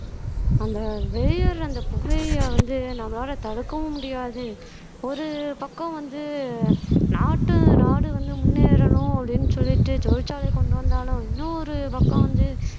அந்த வெளியேற அந்த புகையை வந்து நம்மளால தடுக்கவும் முடியாது ஒரு பக்கம் வந்து நாட்டு நாடு வந்து முன்னேறணும் அப்படின்னு சொல்லிட்டு தொழிற்சாலை கொண்டு வந்தாலும் இன்னும் ஒரு பக்கம் வந்து